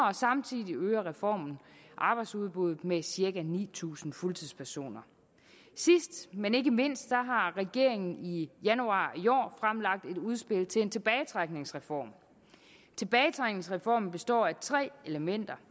og samtidig øger reformen arbejdsudbuddet med cirka ni tusind fuldtidspersoner sidst men ikke mindst har regeringen i januar i år fremlagt et udspil til en tilbagetrækningsreform tilbagetrækningsreformen består af tre elementer